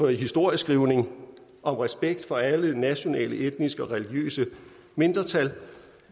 historieskrivning om respekt for alle nationale etniske og religiøse mindretal